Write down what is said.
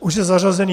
Už je zařazený?